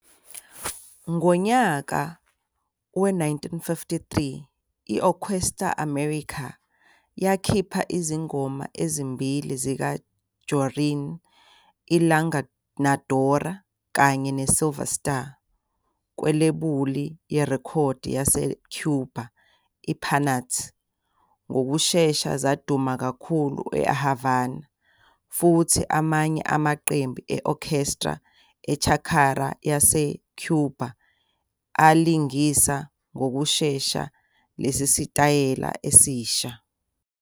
Ngonyaka we-1953, i-Orquesta América yakhipha izingoma ezimbili zikaJorrin, i "La Engañadora" kanye ne "Silver Star", kwilebuli yerekhodi yase-Cuba I-Panart. Ngokushesha zaduma kakhulu eHavana, futhi amanye amaqembu e-orchestra e-charanga aseCuba alingisa ngokushesha lesi sitayela esisha.